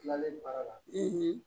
Tilalen baara la